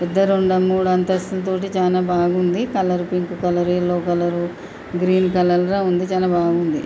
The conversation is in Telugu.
పెద్ద రెండం-మూడంతస్థుల తోటి చానా బాగుంది colour pink colour yellow colour green colour లా ఉంది చాలా బాగుంది.